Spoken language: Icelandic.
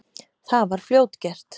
Það var fljótgert.